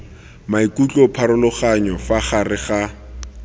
maikutlo pharologanyo fa gare ga